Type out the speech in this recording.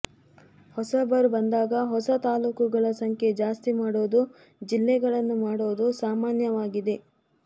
ಹೊಸಬರು ಬಂದಾಗ ಹೊಸ ತಾಲೂಕುಗಳ ಸಂಖ್ಯೆ ಜಾಸ್ತಿ ಮಾಡೋದು ಜಿಲ್ಲೆಗಳನ್ನು ಮಾಡೋದು ಸಾಮಾನ್ಯವಾಗಿದೆ